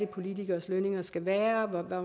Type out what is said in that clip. politikeres lønninger skal være